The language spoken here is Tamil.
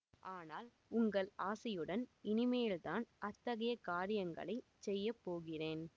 ஆனால் உங்கள் ஆசியுடன் இனிமேல்தான் அத்தகைய காரியங்களை செய்ய போகிறேன்